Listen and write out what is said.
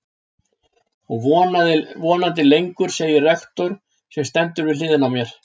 Og vonandi lengur, segir rektor, sem stendur við hliðina á mér.